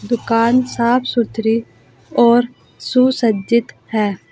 दुकान साफ सुथरी और सुसज्जित है।